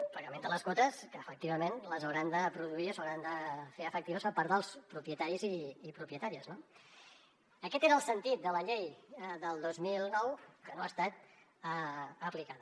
el pagament de les quotes que efectivament les hauran de produir s’hauran de fer efectives per part dels propietaris i propietàries no aquest era el sentit de la llei del dos mil nou que no ha estat aplicada